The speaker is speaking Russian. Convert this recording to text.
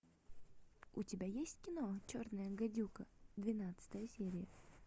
у тебя есть кино черная гадюка двенадцатая серия